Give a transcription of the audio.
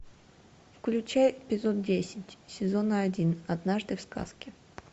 включай эпизод десять сезона один однажды в сказке